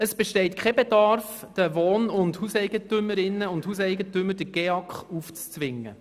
Es besteht kein Bedarf, den Wohn- und Hauseigentümerinnen und Hauseigentümern den GEAK aufzuzwingen.